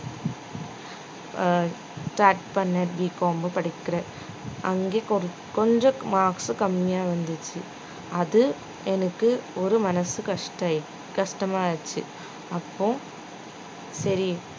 அஹ் start பண்ண Bcom படிக்கிற அங்கே குற~ கொஞ்சம் marks உ கம்மியா இருந்துச்சு அது எனக்கு ஒரு மனசு கஷ்ட~ கஷ்டமாயிருச்சு அப்போ சரி